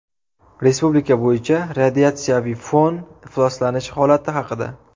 Respublika bo‘yicha radiatsiyaviy fon ifloslanishi holati haqida.